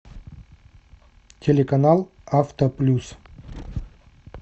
телеканал авто плюс